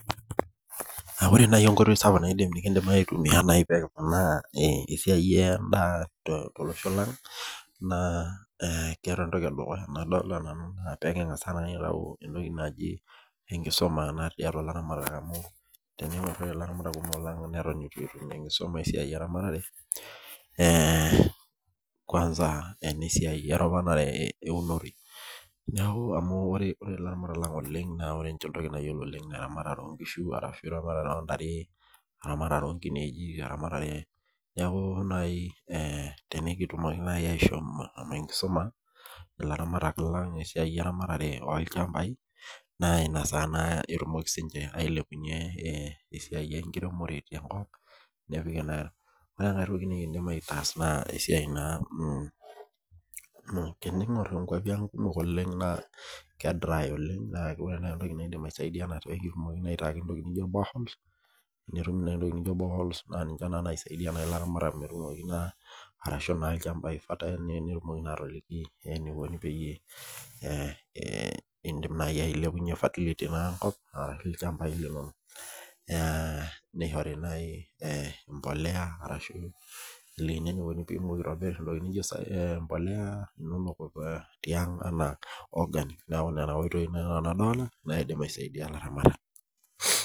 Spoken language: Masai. Ore enkoitoi naaji sapuk nikiindim aitumiyia pee kiponaa esiai endaa tolosho lang, naaore entoki edukuya naaji nadolita nanu naa pee lingas aitayu enkisuma tiatua ilaramatak amu teningor doi ilaramatak lang neton eitu etum enkisuma esiai eramatare ,kwansa enesiai eropata eunore, amu ore laramatak lang ore entoki nayiolo ninche oleng naa eramatare oonkishu ashu eramatare oontare, eramatare oonkineji .Neeku tenikitumoki naaji ashom atangamu enkisuma, ilaramatak lang esiai olchampai, naa inakata naa etum siininche ashom ailepunyie esiai enkiremore tenkop. Ore enkae toki nikiindim ataas naa esiai naa ,amu teningor kwapi ang oleng naa keidry oleng naa ore naaji ntokiting naidim aisaidia naa pee etumokini aitayu ntokiting naijo boreholes amu tenetumi naa ninche naaji naisaidia laramatak ,ashu ilchampai naa fertile peyie indim naaji ailepunyie fertility enkop olchampa lino. Nishori naaji embolea ashu nelikini eniko pee eitobir entoki naijo embolea inonok tiang ena organ naa Nena tokiting nanu adolita naidim aisaidia laramatak.